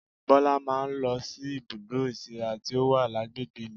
Bọlá máa ń lọ sí ibùdó ìsíra tí ó wà lágbègbè mi